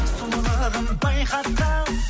сұлулығын байқатқан